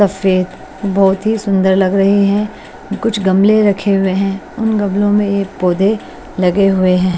Buffet बहोत ही सुंदर लग रही हैं कुछ गमले रखे हुए हैं उन गमले में एक पौधे लगे हुए हैं।